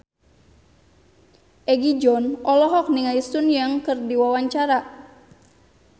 Egi John olohok ningali Sun Yang keur diwawancara